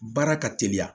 Baara ka teliya